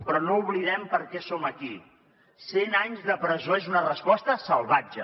però no oblidem per què som aquí cent anys de presó és una resposta salvatge